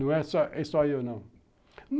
Não é só eu, não.